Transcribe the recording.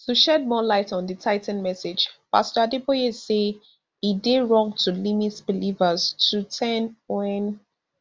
to shed more light on di tithing message pastor adeboye say e dey wrong to limit believers to ten wen